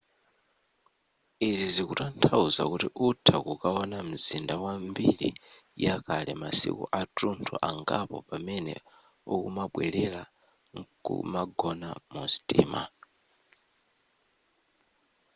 izi zikutanthauza kuti utha kukaona mzinda wa mbiri yakale masiku atunthu angapo pamene ukumabwelera nkumagona mu sitima